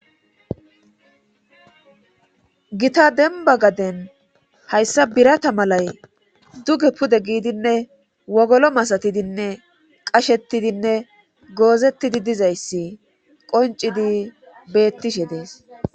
gita denba gaden hayssa birata malay duge pude giidinne wogolo masatidinne qashettidinne goozettidi dizayssi qoncidi beettishe dees